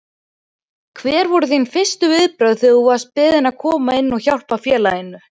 Hver voru þín fyrstu viðbrögð þegar þú varst beðinn að koma inn og hjálpa félaginu?